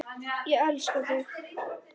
Ég elska þig!